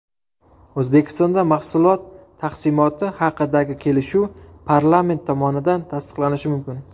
O‘zbekistonda mahsulot taqsimoti haqidagi kelishuv parlament tomonidan tasdiqlanishi mumkin.